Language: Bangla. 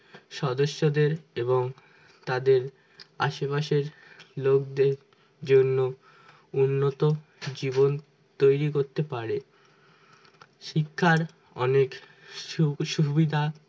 সদস্যদের এবং তাদের আশেপাশের লোকদের জন্য উন্নত জীবন তৈরি করতে পারে শিক্ষার অনেক সুখ-সুবিধা